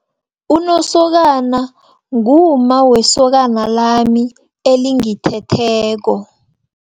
Unosokana, ngumma wesokana lami elithetheko.